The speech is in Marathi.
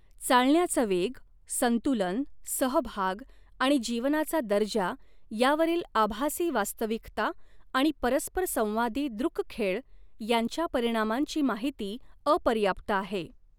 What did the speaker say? चालण्याचा वेग, संतुलन, सहभाग आणि जीवनाचा दर्जा यावरील आभासी वास्तविकता आणि परस्परसंवादी दृक खेळ यांच्या परिणामांची माहिती अपर्याप्त आहे.